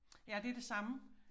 Ja det det samme